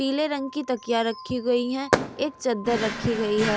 पीले रंग की तकियां रखी गई है एक चद्दर रखी गई है।